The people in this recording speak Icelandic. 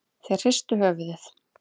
Þeir hristu höfuðið.